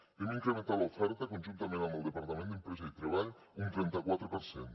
hem incrementat l’oferta conjuntament amb el departament d’empresa i treball un trenta quatre per cent